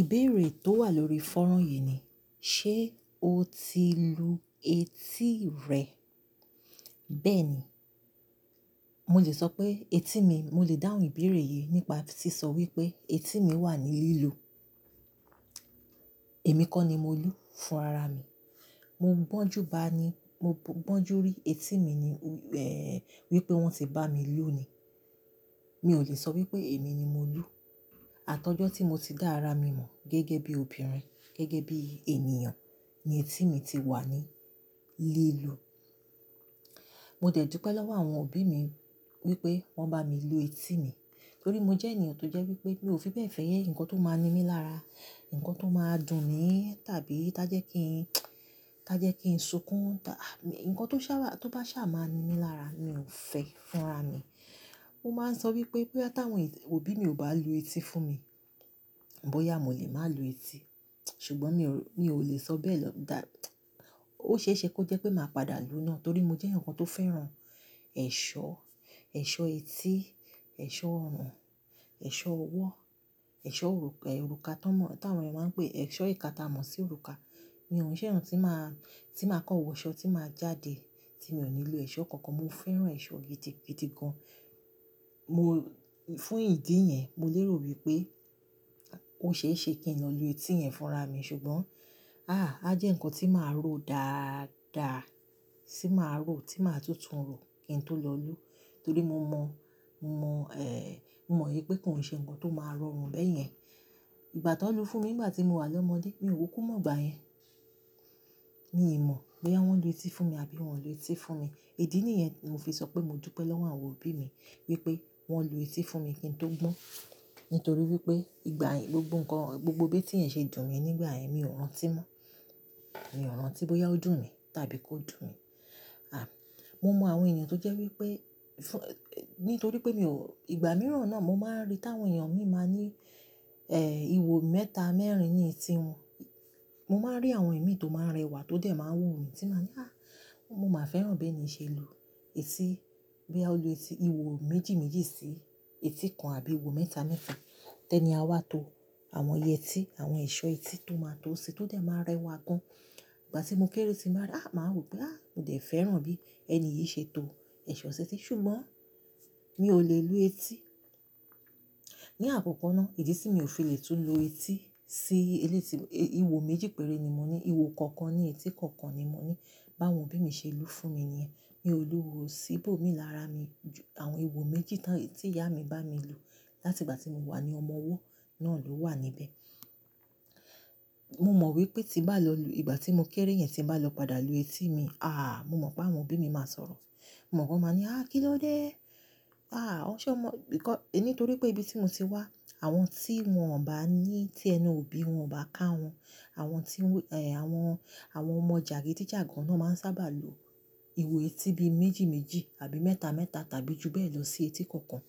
Ìbéèrè tó wà lórí fọ́rán yìí ni, ṣé o ti lu etí rẹ? Bẹ́ẹ̀ ni, mo lè sọ pé etí mi, mo lè dáhùn ìbéèrè yìí nípa tí sọ wípé etí mi wà ní lílù. Èmi kọ́ ni mo lu fún ara mi. Mo gbọ́njú bá ni, mo gbọ́njú rí etí mi ni, ẹ́ẹ́ wípé wón ti bá mi lù ú ní. Mi ò lè sọ wípé èmi ni mo lu. Àtọjọ́ tí mo ti dá ara mi mọ̀ gẹ́gẹ́ bí obìnrin, gẹ́gẹ́ bí ènìyàn ni etí mi ti wà ní lílù. Mo dẹ̀ dupẹ́ lọ́wọ́ àwọn òbí mi wípé wón bá mi lu etí mi. Nítorí mo jẹ́ ènìyàn tó jẹ́ wípé mi ò fi bẹ́ẹ̀ fẹ́yẹ́ ǹkan tó máa ń ní mi lára, ǹkan tó máa ń dùn mí, tàbí tí a jẹ́ kí n, tí a jẹ́ kí n sunkún, ta-- ǹkan tó ṣà, tó bá ṣà máa ń ní mi lára mi ò fẹ́ fún ara mi. Mo máa ń sọ wípé bóyá táwọn òbí mi ò bá lu etí fún mi, bóyá mo lè má lu etí. Ṣùgbọ́n mi ò, mi ò lè sọ bẹ́ẹ̀ lọ dá. Ó ṣeéṣe kó jẹ́ pé màá padà lu náà torí mo jẹ́ ǹkan tó fẹ́ràn ẹ̀ṣọ́, ẹ̀ṣọ́ etí, ẹ̀ṣọ́ ọrùn, ẹ̀ṣọ́ ọwọ́, ẹ̀ṣọ́ òrùkà, òrùkà táwọn ènìyàn máa ń pè ẹ́, ẹ̀ṣọ́ ìka ta mọ̀ sí òrùkà. Mi ò ń ṣe ǹkan tí máa, tí máa kọ́wọ̀ ṣọ, tí máa jáde tí mi ò nílò ẹ̀ṣọ́ kankan. Mo fẹ́ràn ẹ̀ṣọ́ gidi, gidi gan. Mo-- fún ìdí yẹn, mo lérò wípé ó ṣeéṣe kí n lọ lu etí yẹn fún ara mi. Ṣùgbọ́n, àá, á jẹ́ ǹkan tí màá rò dáàda, tí màá rò, tí màá tútùn rò kí n tó lọ lù ú. Torí mo mọ̀, mọ̀ ẹ́ẹ́, mọ̀ wípé kò ń ṣe ǹkan tó máa rọrùn bẹ́ẹ̀ yẹn. Ìgbà tó lu fún mi nígbà tí mo wà lọ́mọdé, mi ò kú kún mọ̀ ọgbà yẹn. Mi ò mọ̀ bóyá wọ́n lu etí fún mi àbí wọn ò lu etí fún mi. Ìdí nìyẹn mo fi sọ pé mo dúpẹ́ lọ́wọ́ àwọn òbí mi wípé wọ́n lu etí fún mi kí n tó gbọ́n. Nítorí wípé ìgbà yẹn gbogbo ǹkan, gbogbo bí tí ń ṣe dùn mi nígbà yẹn mi ò rántí mọ́. Mi ò rántí bóyá ó dùn mí tàbí kò dùn mí. À, mo mọ̀ àwọn ènìyàn tó jẹ́ wípé fún-- nítorí pé mi ò, ìgbà mìíràn náà mo máa ń rí táwọn èèyàn mi máa ní ẹ́ẹ́, ìwo mẹ́ta, mẹ́rin ní etí wọn. Mo máa ń rí àwọn ìmí tó máa ń rẹwà tó dẹ̀ máa ń wò mí tí màá ní, "àá, mo máa fẹ́ràn bí ẹni ṣe lu etí." Bí a lu etí, ìwo méjì méjì sí etí kan àbí ìwo mẹ́ta mẹ́ta. Tẹ́ ni a wá to àwọn yẹtí, àwọn ẹ̀ṣọ́ etí tó máa ń to sin tó dẹ̀ máa ń rẹwà gan. Ìgbà tí mo kéré tí màá rí, "àá" màá rò pé, "àá, mo dẹ̀ fẹ́ràn bí ẹni yìí ṣe to ẹ̀ṣọ́ etí." Ṣùgbọ́n mi ò lè lu etí. Ni àkọ́kọ́ náà, ìdí tí mi ò fi lè tún lu etí sí eléti, ìwo méjì péré ni mo ní, ìwo kankan ni etí kankan ni mo ní. Báwọn òbí mi ṣe lu fún mi iyẹn, mi ò lu òwò síbò mi lára mi ju àwọn ìwo méjì táwọn, tí ìyá mi bá mi lu láti ìgbà tí mo wà ní ọmọ ọwọ́ náà ló wà níbẹ̀. Mo mọ̀ wípé tí bàá lọ lu, ìgbà tí mo kéré yẹn tí bàá lọ padà lu etí mi, àá, mo mọ̀ pé àwọn òbí mi máa sọ̀rọ̀. Mo mọ̀ pé wọ́n máa ní, "àá, kí ló dé? Àá, ọ ṣé ọ mọ̀?" Nítorí pé ibi tí mo ti wá, àwọn tí wọn ò bá ní tí ẹnu òbí wọn ò bá ká wọn, àwọn tí wọ́n, ẹ́ẹ́ àwọn, àwọn ọmọ jàgídíjàgan náà máa ń sábà lu ìwo etí bí méjì méjì àbí mẹ́ta mẹ́ta tàbí ju bẹ́ẹ̀ lọ sí etí kankan.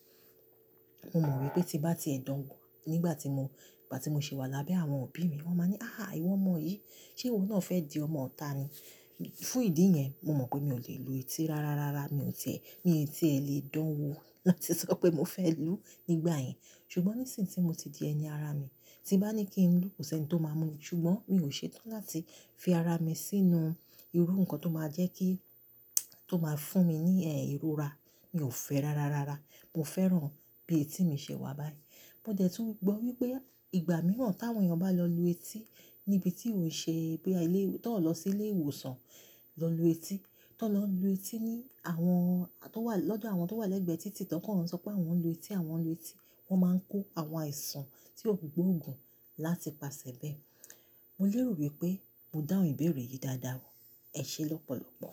Mo mọ̀ wípé tí bá ti ẹ dánwo nígbà tí mo, nígbà tí mo ṣe wà lábẹ́ àwọn òbí mi, wọ́n máa ní, "àhá ìwọ ọmọ yìí, ṣé ìwo náà fẹ́ di ọmọ ọ̀tá ni?" Fún ìdí yẹn, mo mọ̀ pé mi ò lè lu etí. Rárá, rárá mi ò tẹ́, mi ò tẹ́ lè dánwo láti sọ pé mo fẹ́ lù ú nígbà yẹn. Ṣùgbọ́n nísìí tí mo ti di ẹni ara mi, tí bàa ní kí n lù ú kò sí ẹni tó máa mú mi. Ṣùgbọ́n mi ò ṣetán láti fi ara mi sínú irú ǹkan tó máa jẹ́ kí, tó máa fún mi ní ẹ́ẹ́ ìrora. Mi ò fẹ́ rárá, rárá. Mo fẹ́ràn bí etí mi ṣe wà báyìí. Mo dẹ̀ tún mọ̀ wípé ìgbà mìíràn táwọn èèyàn bá lọ lu etí ní ibi tí ò ń ṣe, bíi ilé, tí wọ́n lọ sí ilé ìwòsàn lọ lu etí, tí wọ́n lọ lu etí ní àwọn tó wà lọ́dọ̀ àwọn tó wà lẹ́gbẹ̀ẹ́ títì tán kí wọ́n sọ pé àwọn ń lu etí, àwọn ń lu etí, wọ́n máa ń kó àwọn àìsàn tí ò gboo ògùn láti pasẹ̀ bẹ́ẹ̀. Mo lérò wípé mo dáhùn ìbéèrè yìí dáadáa. Ẹ ṣé lọ́pọ̀lọ́pọ̀.